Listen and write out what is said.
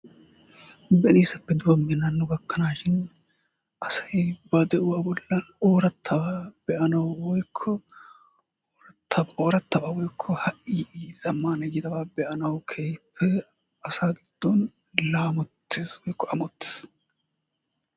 benisaappe doomin hano gakanaashin asay ba de'uwaa bollaan orattabaa be'anawu woykko orattabaa woykko ha'i yiida zammaanabaa be'anawu keehippe asaa giddon laamotees woykko ammottees.